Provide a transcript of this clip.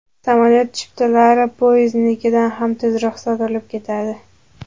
Samolyot chiptalari poyezdnikidan ham tezroq sotilib ketadi.